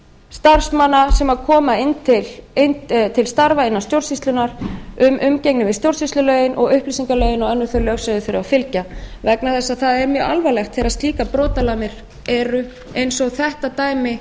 starfsmanna sem koma til starfa innan stjórnsýslunnar um umgengni við stjórnsýslulögin og upplýsingalögin og önnur þau lög sem þeir þurfa að fylgja vegna þess að það er mjög alvarlegt þegar slíkar brotalamir eru eins og þetta dæmi